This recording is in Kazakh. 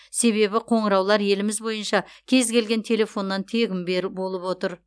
себебі қоңыраулар еліміз бойынша кез келген телефоннан тегін бер болып отыр